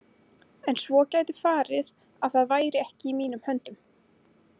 En svo gæti farið að það væri ekki í mínum höndum.